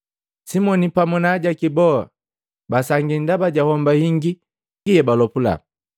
Simoni pamu na ajaki boa basangia ndaba ja homba hingi yebalopula.